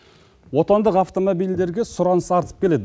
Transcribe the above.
отандық автомобильдерге сұраныс артып келеді